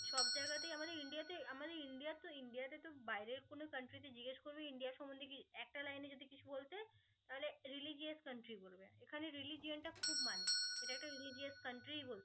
কিন্তু বাইরের কোনো country তে তুই জিজ্ঞেস করবি ইন্ডিয়া সমন্ধে কিছু একটা লাইনে যদি কিছু বলতে তাহলে religious country বলবে এখানে religious টা খুব মানে এটা একটা religious country ই বলবে